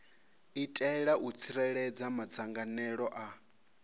itela u tsireledza madzangalelo a